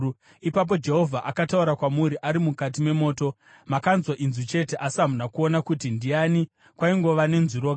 Ipapo Jehovha akataura kwamuri ari mukati memoto. Makanzwa inzwi chete asi hamuna kuona kuti ndiani; kwaingova nenzwi roga.